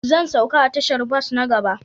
Zan sauka a tashar bas na gaba